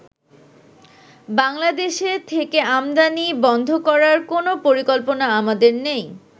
বাংলাদেশে থেকে আমদানি বন্ধ করার কোন পরিকল্পনা আমাদের নেই।